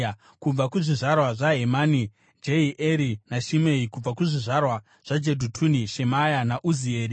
kubva kuzvizvarwa zvaHemani, Jehieri naShimei; kubva kuzvizvarwa zvaJedhutuni, Shemaya naUzieri.